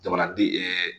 Jamanaden